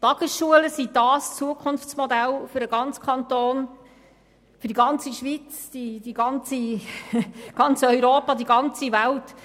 Die Tagesschulen sind das Zukunftsmodell für den ganzen Kanton, die ganze Schweiz, ganz Europa und die ganze Welt.